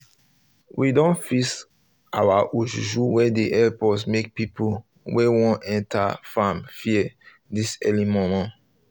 we don fix our ojuju wey dey help us make people wey want enter farm fear this early momo